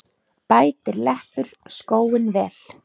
Bætir leppur skóinn vel.